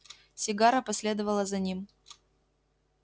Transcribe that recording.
сигара последовала за ним